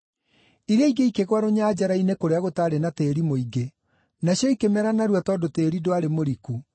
Iria ingĩ ikĩgũa rũnyanjara-inĩ kũrĩa gũtaarĩ na tĩĩri mũingĩ. Nacio ikĩmera narua tondũ tĩĩri ndwarĩ mũriku.